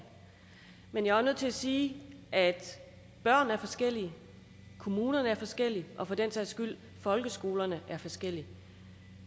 men jeg er også nødt til at sige at børn er forskellige at kommunerne er forskellige og at for den sags skyld folkeskolerne er forskellige